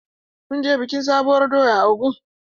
Mun je bikin sabuwar doya a Ogun.